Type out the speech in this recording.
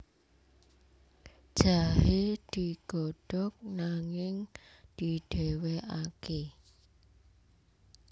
Jahe digodhog nanging didhéwékaké